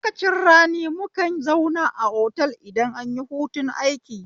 A lokacin rani mukan zauna a otal idan anyi hutun aiki